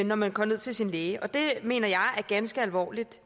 når man går ned til sin læge og det mener jeg er ganske alvorligt